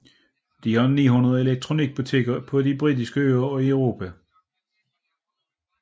De har 900 elektronikbutikker på de britiske øer og i Europa